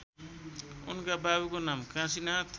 उनका बाबुको नाम काशीनाथ